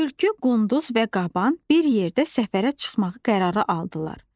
Tülkü, qunduz və qaban bir yerdə səfərə çıxmağı qərara aldılar.